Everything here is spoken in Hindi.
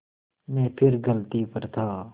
मैं फिर गलती पर था